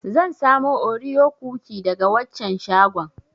Zan samo Oreo cookie daga waccan shagon.